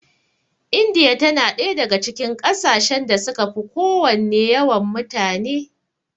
Indiya tana ɗaya daga cikin ƙasashen da suka fi kowanne yawan mutane.